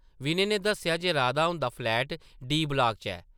विनय नै दस्सेआ जे राधा हुंदा फ्लैट डी. ब्लाक च ऐ ।